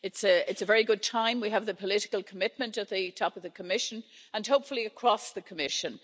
It's a very good time. We have the political commitment at the top of the Commission, and hopefully across the Commission.